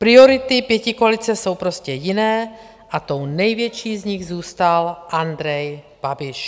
Priority pětikoalice jsou prostě jiné a tou největší z nich zůstal Andrej Babiš.